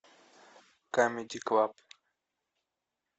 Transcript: камеди клаб